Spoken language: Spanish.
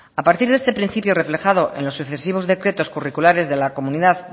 a partir de este principio reflejado en los sucesivos decretos curriculares de la comunidad